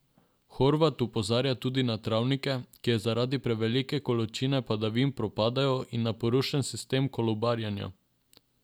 Horvat opozarja tudi na travnike, ki zaradi prevelike količine padavin propadajo, in na porušen sistem kolobarjenja.